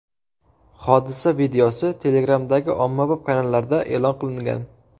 Hodisa videosi Telegram’dagi ommabop kanallarda e’lon qilingan.